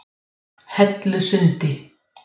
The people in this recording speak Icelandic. Dæmi um þetta eru bólur sem geyma fitu, vatn eða ensím.